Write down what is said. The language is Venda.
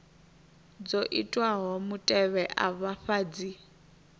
dzo itwaho mutevhe afha dzi